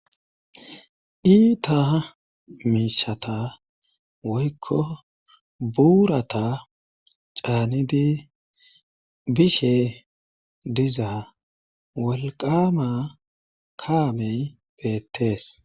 Iita miishata woykko buurata caanidi bishe dizaa wolqama kaamey beettees.